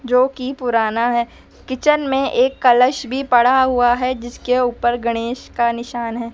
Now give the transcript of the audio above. जो की पुराना है। किचन में एक कलश पड़ा हुआ है जिसके ऊपर गणेश का निशान है।